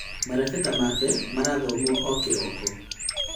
Marebeta make marathomwo o kĩroko